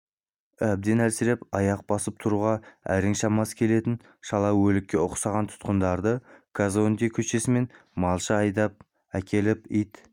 әбден әлсіреп аяқ басып тұруға әрең шамасы келетін шала өлікке ұқсаған тұтқындарды казонде көшесімен малша айдап әкеліп ит